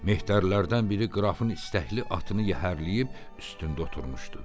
Mehdərlərdən biri qırafın istəkli atını yəhərləyib üstündə oturmuşdu.